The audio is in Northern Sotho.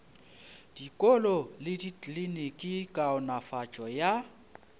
dikolo le dikliniki kaonafatšo ya